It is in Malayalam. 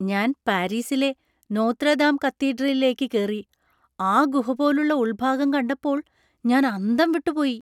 ഞാൻ പാരീസിലെ നോത്ര ദാം കത്തീഡ്രലിലേക്ക് കേറി, ആ ഗുഹ പോലുള്ള ഉള്‍ഭാഗം കണ്ടപ്പോൾ ഞാൻ അന്തം വിട്ടു പോയി.